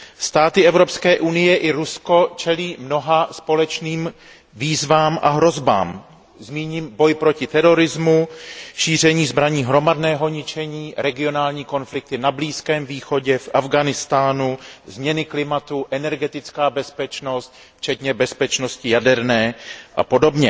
Státy Evropské unie i Rusko čelí mnoha společným výzvám a hrozbám. Zmíním boj proti terorizmu, šíření zbraní hromadného ničení, regionální konflikty na Blízkém východě, v Afghánistánu, změnu klimatu, energetickou bezpečnost včetně bezpečnosti jaderné apod.